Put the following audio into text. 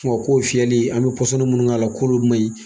Ko nga k'o fiyɛli an be munnu k'a la, k'olu man ɲi.